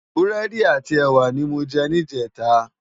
Búrédi áti èwá ni mó jè nijètá